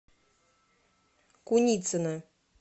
куницына